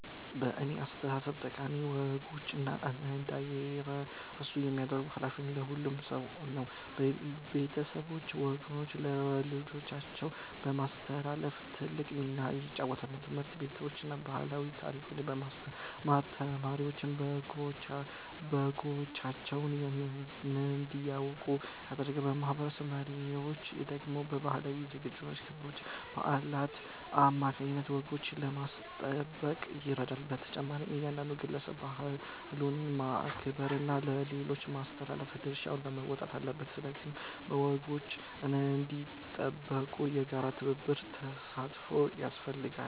በእኔ አስተያየት ጠቃሚ ወጎች እንዳይረሱ የማድረግ ኃላፊነት የሁሉም ሰው ነው። ቤተሰቦች ወጎችን ለልጆቻቸው በማስተላለፍ ትልቅ ሚና ይጫወታሉ። ትምህርት ቤቶችም ባህልና ታሪክን በማስተማር ተማሪዎች ወጎቻቸውን እንዲያውቁ ያደርጋሉ። የማህበረሰብ መሪዎች ደግሞ በባህላዊ ዝግጅቶችና ክብረ በዓላት አማካይነት ወጎችን ለማስጠበቅ ይረዳሉ። በተጨማሪም እያንዳንዱ ግለሰብ ባህሉን በማክበርና ለሌሎች በማስተላለፍ ድርሻውን መወጣት አለበት። ስለዚህ ወጎች እንዲጠበቁ የጋራ ትብብርና ተሳትፎ ያስፈልጋል።